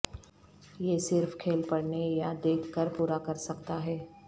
یہ صرف کھیل پڑھنے یا دیکھ کر پورا کر سکتا ہے